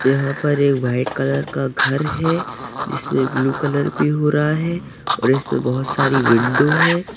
यहा पर एक व्हाइट कलर का घर है जिस मे ब्लू कलर भी हो रहा है और इसमे बहोत सारी विंडो है।